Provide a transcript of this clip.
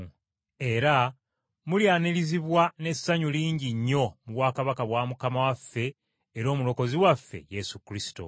Era mulyanirizibwa n’essanyu lingi nnyo mu bwakabaka bwa Mukama waffe era Omulokozi waffe Yesu Kristo.